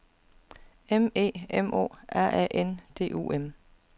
M E M O R A N D U M